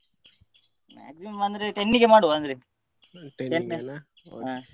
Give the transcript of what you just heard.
Maximum ಅಂದ್ರೆ ten ಗೆ ಮಾಡುವ ಅಂದ್ರೆ ಹ.